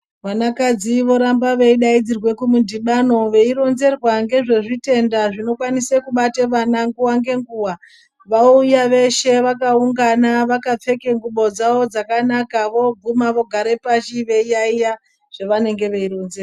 Vanakadzi voramba veidaidzirwe kumudhibano veironzerwa ngezvezvitenda zvinokwanise kubate vana nguva ngenguva. Vauya veshe vakaungana vakapfeke ngubo dzavo dzakanaka. Vooguma vogare pashi veiyaiya zvevanenge veironzerwa.